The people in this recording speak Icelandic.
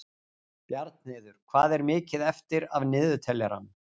Bjarnheiður, hvað er mikið eftir af niðurteljaranum?